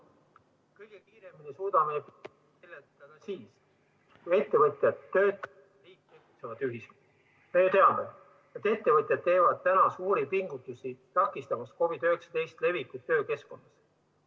Ettevõtjad teevad suuri pingutusi, takistamaks COVID-19 levikut töökeskkonnas.